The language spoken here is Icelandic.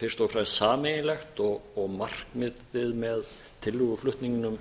fyrst og fremst sameiginlegt og markmiðið með tillöguflutningnum